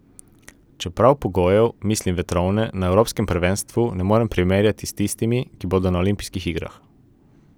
Čeprav pogojev, mislim vetrovne, na evropskem prvenstvu ne morem primerjati s tistimi, ki bodo na olimpijskih igrah.